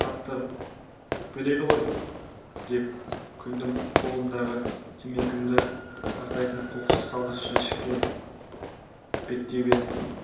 қатты өкпелейді ғой деп күлдім қолымдағы темекімді тастайтын қоқыс салғыш жәшікке беттей беріп